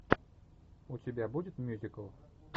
у тебя будет мюзикл